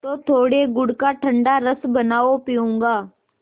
तो थोड़े गुड़ का ठंडा रस बनाओ पीऊँगा